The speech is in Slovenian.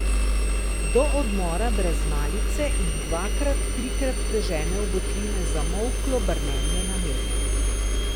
Do odmora brez malice jih dvakrat, trikrat prežene v votline zamolklo brnenje na nebu.